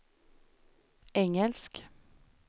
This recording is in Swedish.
engelsk